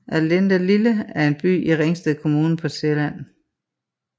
Allindelille er en by i Ringsted Kommune på Sjælland